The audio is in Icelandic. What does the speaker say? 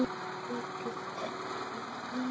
Ég get ekki lifað.